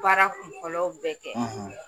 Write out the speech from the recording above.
Baara kunfɔlɔw bɛ kɛ